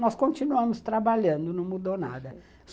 Nós continuamos trabalhando, não mudou nada.